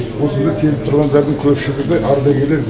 осында келіп тұрғандардың көпшілігі ардагерлер